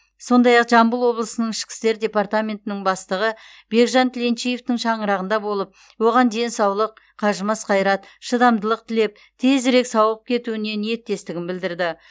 сондай ақ жамбыл облысының ішкі істер департаментінің бастығы бекжан тіленчиевтің шаңырағында болып оған денсаулық қажымас қайрат шыдамдылық тілеп тезірек сауығып кетуіне ниеттестігін білдірді